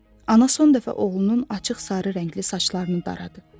Ana son dəfə oğlunun açıq sarı rəngli saçlarını daradı.